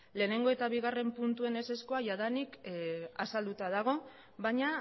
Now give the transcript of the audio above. lehenengo eta bigarren puntuen ezezkoa jadanik azalduta dago baina